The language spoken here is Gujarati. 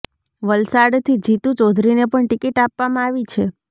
વલસાડથી જીતુ ચૌધરીને પણ ટિકિટ આપવામાં આવી છે